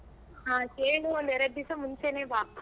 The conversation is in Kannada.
ಹ ಕೇಳಿ ಒಂದ್ ಎರಡ್ ದಿಸ ಮುಂಚೆನೆ ಬಾ.